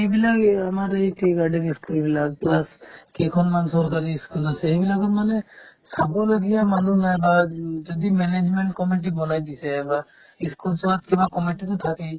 এইবিলাক এই আমাৰ এই tea garden ই school বিলাক plus কেইখনমান চৰকাৰী ই school আছে এইবিলাকত মানে চাবলগীয়া মানুহ নাই বা উম যদি management committee বনাই দিছে এবাৰ ই schools ত কিবা committee তো থাকেই